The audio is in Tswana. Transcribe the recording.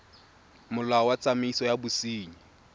molao wa tsamaiso ya bosenyi